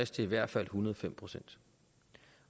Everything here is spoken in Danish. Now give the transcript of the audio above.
til i hvert fald en hundrede og fem procent